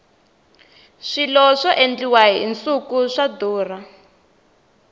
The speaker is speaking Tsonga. swilo swa endliwa hi nsuku swa durha